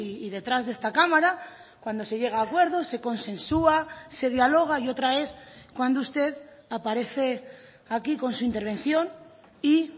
y detrás de esta cámara cuando se llega a acuerdos se consensua se dialoga y otra es cuando usted aparece aquí con su intervención y